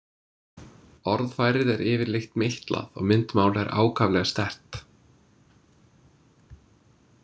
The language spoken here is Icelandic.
Orðfærið er yfirleitt meitlað og myndmál er ákaflega sterkt.